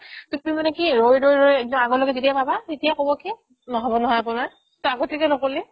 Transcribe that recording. to তুমি মানে কি ৰৈ ৰৈ ৰৈ একদম আগলৈকে যেতিয়া পাবা তেতিয়াই ক'ব কি নহ'ব নহয় আপোনাৰ to আগতে কিয় নক'লি